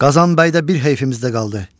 Qazan bəy də bir heyfimiz də qaldı.